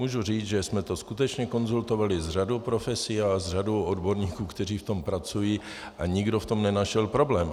Můžu říct, že jsme to skutečně konzultovali s řadou profesí a s řadou odborníků, kteří v tom pracují, a nikdo v tom nenašel problém.